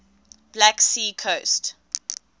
black sea coast